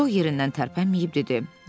Co yerindən tərpənməyib dedi: